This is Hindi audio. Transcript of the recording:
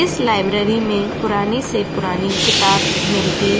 इस लाइब्ररी में पुरानी से पुरानी किताब मिलती --